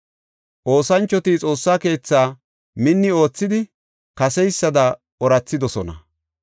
Oosanchoti Xoossa keethaa minni oothidi kaseysada oorathidosona.